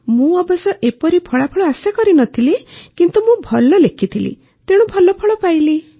ମୁଁ ଅବଶ୍ୟ ଏପରି ଫଳାଫଳ ଆଶା କରିନଥିଲି କିନ୍ତୁ ମୁଁ ଭଲ ଲେଖିଥିଲି ତେଣୁ ଭଲ ଫଳ ପାଇଲି